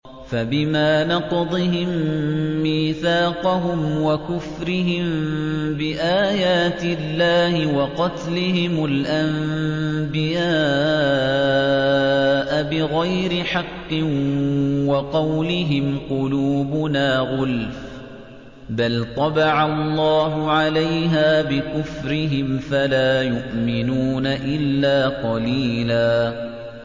فَبِمَا نَقْضِهِم مِّيثَاقَهُمْ وَكُفْرِهِم بِآيَاتِ اللَّهِ وَقَتْلِهِمُ الْأَنبِيَاءَ بِغَيْرِ حَقٍّ وَقَوْلِهِمْ قُلُوبُنَا غُلْفٌ ۚ بَلْ طَبَعَ اللَّهُ عَلَيْهَا بِكُفْرِهِمْ فَلَا يُؤْمِنُونَ إِلَّا قَلِيلًا